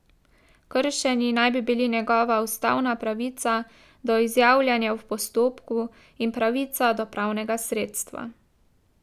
Kršeni naj bi bili njegova ustavna pravica do izjavljanja v postopku in pravica do pravnega sredstva.